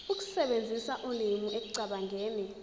ukusebenzisa ulimi ekucabangeni